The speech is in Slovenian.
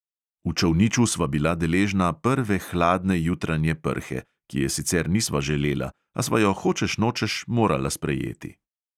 V čolniču sva bila deležna prve hladne jutranje prhe, ki je sicer nisva želela, a sva jo hočeš nočeš morala sprejeti.